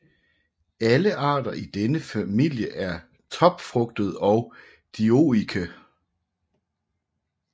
Alle arter i denne familie er topfrugtede og dioike